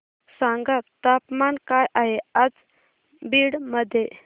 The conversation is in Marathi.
सांगा तापमान काय आहे आज बीड मध्ये